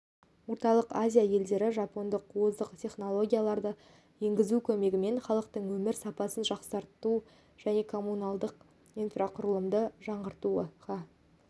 орталық азия елдері жапондық озық технологияларды енгізу көмегімен халықтың өмір сапасын жақсарту және коммуналдық инфрақұрылымды жаңғыртуға